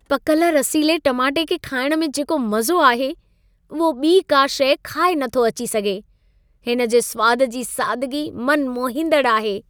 पकल रसीले टमाटे खे खाइणु में जेको मज़ो आहे, उहो ॿी का शै खाए नथो अची सघे. हिन जे सुवाद जी सादगी मन मोहींदड़ु आहे!